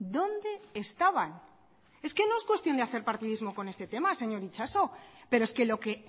dónde estaban es que no es cuestión de hacer partidismo con este tema señor itxaso pero es que lo que